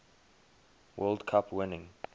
world cup winning